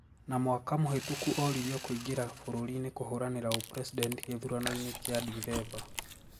Na mwaka mũhitũku oririo kuingira bururiini kuhũranira ũpresident githuranoini kia dithemba